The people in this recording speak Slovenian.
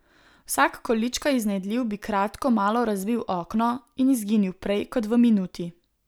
Vsak količkaj iznajdljiv bi kratko malo razbil okno in izginil prej kot v minuti.